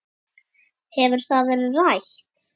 Hefur það verið rætt?